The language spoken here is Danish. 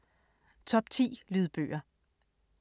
Top 10 lydbøger